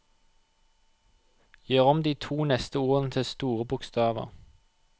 Gjør om de to neste ordene til store bokstaver